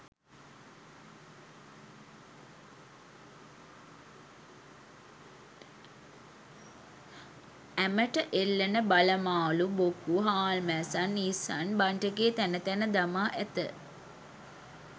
ඇමට එල්ලන බල මාළු බොකු හාල්මැස්සන් ඉස්සන් බන්ට් එකේ තැන තැන දමා ඇත.